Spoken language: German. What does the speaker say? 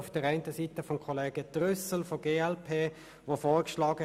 Kollege Trüssel, glp, schlug vor: